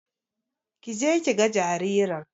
Kije kiga jaririn